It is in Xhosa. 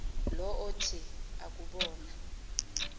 lo othi akubona